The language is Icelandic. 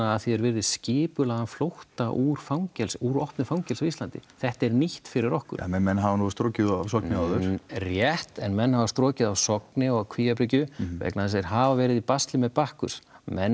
að því er virðist skipulagðan flótta úr fangelsi úr opnu fangelsi á Íslandi þetta er nýtt fyrir okkur ja menn hafa nú strokið af Sogni áður rétt menn hafa strokið af Sogni og Kvíabryggju vegna þess að þeir hafa verið í basli með Bakkus menn